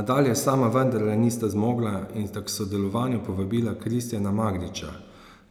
A dalje sama vendarle nista zmogla in sta k sodelovanju povabila Kristijana Magdiča,